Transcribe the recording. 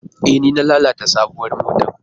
E, ni na lalata sabuwar motar.